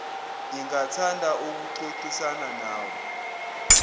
ingathanda ukuxoxisana nawe